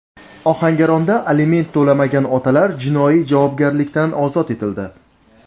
Ohangaronda aliment to‘lamagan otalar jinoiy javobgarlikdan ozod etildi.